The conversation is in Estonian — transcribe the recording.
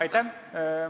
Aitäh!